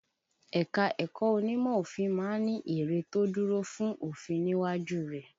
Ẹ̀ka-ẹ̀kọ́ onímọ̀ òfin ma ń ni ère tó dúró fún òfin níwájú rẹ̀.